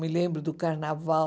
Me lembro do carnaval.